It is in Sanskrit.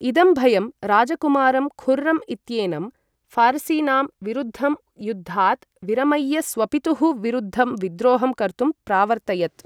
इदं भयं राजकुमारं खुर्रम् इत्येनं, फारसीनां विरुद्धं युद्धात् विरमय्य स्वपितुः विरुद्धं विद्रोहं कर्तुं प्रावर्तयत्।